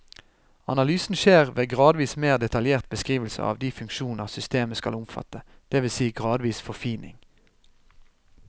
Analysen skjer ved gradvis mer detaljert beskrivelse av de funksjoner systemet skal omfatte, det vil si gradvis forfining.